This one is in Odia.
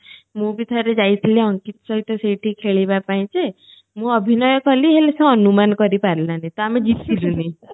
ମୁଁ ବି ଥରେ ଯାଇଥିଲି ଅଙ୍କିତ ସହିତ ସେଇଠି ଖେଳିବା ପାଇଁ ଯେ ମୁଁ ଅଭିନୟ କଲି ହେଲେ ସେ ଅନୁମାନ କରିପାରିଲାଣି ତ ଆମେ ଜିତି ଲୁନି